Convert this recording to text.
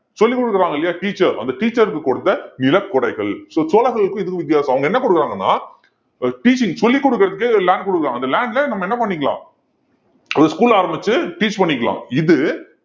சொல்லிக் கொடுக்குறாங்க இல்லையா teacher அந்த teacher க்கு கொடுத்த நிலக்கொடைகள் so சோழர்களுக்கும் இதுக்கும் வித்தியாசம் அவங்க என்ன கொடுக்குறாங்கன்னா ஆஹ் teaching சொல்லிக் கொடுக்குறதுக்கே land கொடுக்குறாங்க அந்த land ல நம்ம என்ன பண்ணிக்கலாம் ஒரு school ஆரம்பிச்சு teach பண்ணிக்கலாம் இது